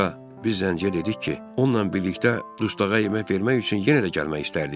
Sonra biz zənciyə dedik ki, onunla birlikdə dustağa yemək vermək üçün yenə də gəlmək istərdik.